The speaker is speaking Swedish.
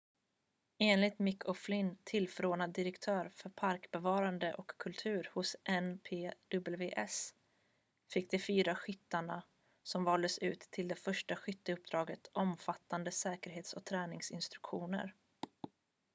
enligt mick o'flynn tillförordnad direktör för parkbevarande och kultur hos npws fick de fyra skyttarna som valdes ut till det första skytteuppdraget omfattande säkerhets- och träningsinstruktioner